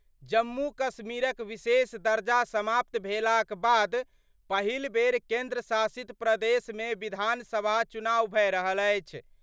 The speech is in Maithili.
जम्मू-कश्मीरक विशेष दर्जा समाप्त भेलाक बाद पहिल बेर केंद्र शासित प्रदेश मे विधानसभा चुनाव भए रहल अछि।